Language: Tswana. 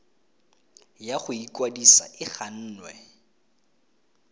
ya go ikwadisa e gannwe